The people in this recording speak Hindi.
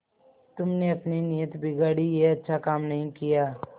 तुमने अपनी नीयत बिगाड़ी यह अच्छा काम नहीं किया